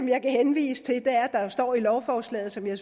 jeg kan henvise til er at der står i lovforslaget som jeg